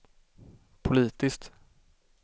politiskt